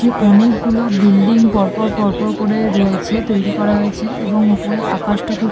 অনেক গুলো বিল্ডিং পর পর পর পর পর করে রয়েছে তৈরী করা হয়েছে এবং ওপরে আকাশটা খুব--